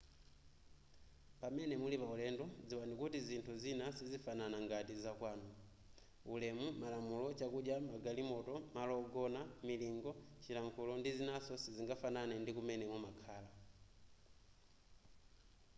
pamene muli pa ulendo dziwani kuti zinthu zina sizifanana ngati za kwanu ulemu malamulo chakudya magalimoto malo ogona milingo chilankhulo ndi zinaso sizingafanane ndi kumene mumakhala